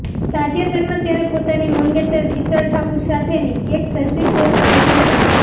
તાજેતરમાં તેણે પોતાની મંગેતર શિતલ ઠાકુર સાથેની એક તસ્વીર પોસ્ટ કરી હતી